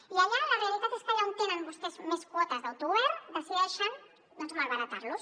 i allà la realitat és que allà on tenen vostès més quotes d’autogovern decideixen doncs malbaratar les